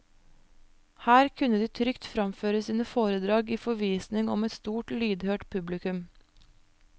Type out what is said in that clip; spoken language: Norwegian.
Her kunne de trygt framføre sine foredrag i forvisning om et stort lydhørt publikum.